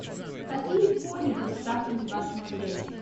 какие кони представлены в вашем отеле